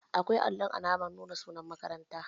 Akwai allun alamar nuna sunan makaranta